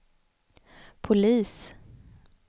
polis